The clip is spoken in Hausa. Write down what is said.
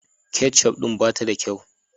Ketciuf din ba ta da kyau.